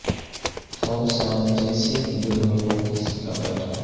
خوف سا جیسے کہ دل میں ہو کسی کا بیٹھا